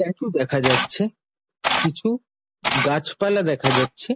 স্ট্যাটু দেখা যাচ্ছে কিছু গাছপালা দেখা যাচ্ছে।